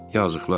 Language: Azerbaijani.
Yazıqlar.